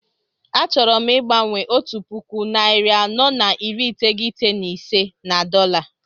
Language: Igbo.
A chọrọ m igbanwe ₦1495 na dọla